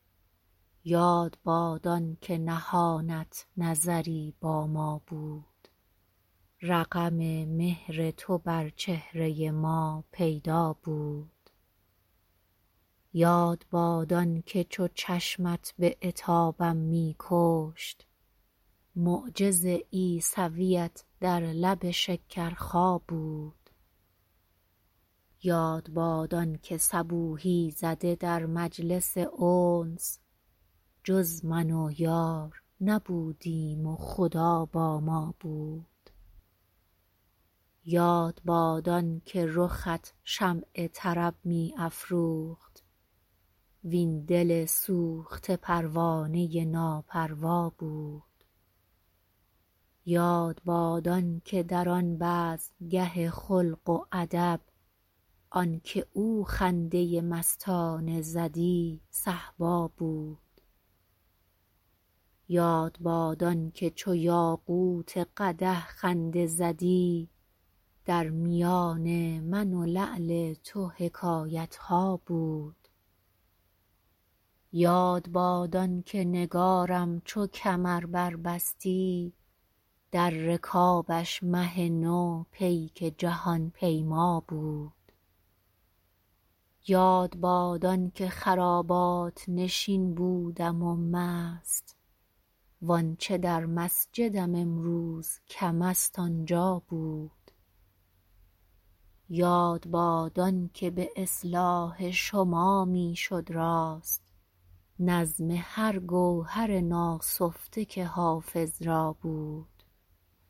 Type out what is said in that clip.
یاد باد آن که نهانت نظری با ما بود رقم مهر تو بر چهره ما پیدا بود یاد باد آن که چو چشمت به عتابم می کشت معجز عیسویت در لب شکرخا بود یاد باد آن که صبوحی زده در مجلس انس جز من و یار نبودیم و خدا با ما بود یاد باد آن که رخت شمع طرب می افروخت وین دل سوخته پروانه ناپروا بود یاد باد آن که در آن بزمگه خلق و ادب آن که او خنده مستانه زدی صهبا بود یاد باد آن که چو یاقوت قدح خنده زدی در میان من و لعل تو حکایت ها بود یاد باد آن که نگارم چو کمر بربستی در رکابش مه نو پیک جهان پیما بود یاد باد آن که خرابات نشین بودم و مست وآنچه در مسجدم امروز کم است آنجا بود یاد باد آن که به اصلاح شما می شد راست نظم هر گوهر ناسفته که حافظ را بود